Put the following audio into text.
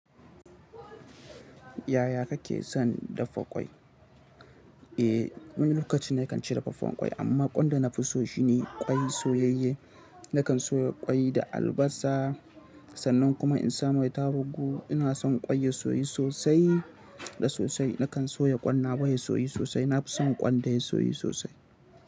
Yaya kake son daffa ƙwai? Eh, ni lokacin da kan ci daffa ƙwai amma ƙwan da na fi so shine ƙwai soyayye. Nakan soya ƙwai da albasa, sannan kuma in samai tarugu. Ina son ƙwai ya soyu sosai da sosai. Nakan soya ƙwan nawa ya soyu sosai. Na fi son ƙwan da ya soyu sosai.